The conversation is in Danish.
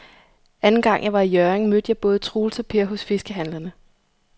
Anden gang jeg var i Hjørring, mødte jeg både Troels og Per hos fiskehandlerne.